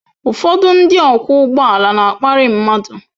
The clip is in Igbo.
Ụfọdụ ndị ọkwọ ụgbọala na-akparị mmadụ.